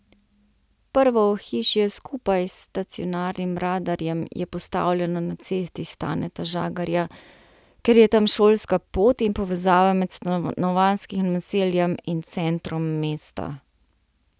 Prvo ohišje skupaj z stacionarnim radarjem je postavljeno na Cesti Staneta Žagarja, ker je tam šolska pot in povezava med stanovanjskim naseljem in centrom mesta.